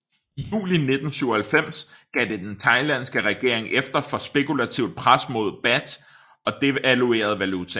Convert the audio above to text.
I juli 1997 gav den thailandske regering efter for spekulativt pres mod baht og devaluerede valutaen